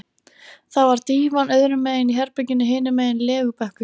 Það var dívan öðrum megin í herberginu, hinum megin legubekkur.